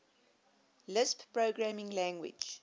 lisp programming language